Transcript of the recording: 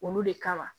Olu de kama